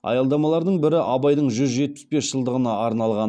аялдамалардың бірі абайдың жүз жетпіс бес жылдығына арналған